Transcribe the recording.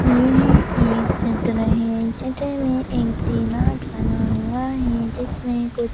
यह एक चित्र है चित्र में एक डिमार्ट बना हुआ है जिसमें कुछ--